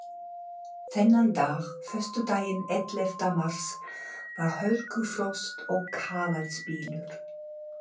Þennan dag, föstudaginn ellefta mars, var hörkufrost og kafaldsbylur.